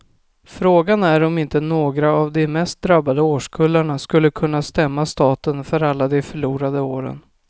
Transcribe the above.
Frågan är om inte några av de mest drabbade årskullarna skulle kunna stämma staten för alla de förlorade åren.